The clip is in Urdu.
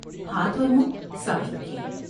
ہاتھ اور منھ صاف رکھیں ۔